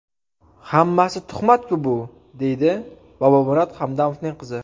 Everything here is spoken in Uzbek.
Hammasi tuhmat-ku, bu?”, deydi Bobomurod Hamdamovning qizi.